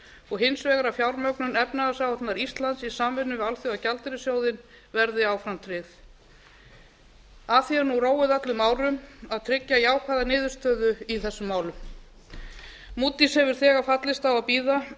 og hins vegar að fjármögnun efnahagsáætlunar íslands í samvinnu við alþjóðagjaldeyrissjóðinn verði áfram tryggð að því er nú róið öllum árum að tryggja jákvæða niðurstöðu í þessum málum mutís hefur þegar fallist á að bíða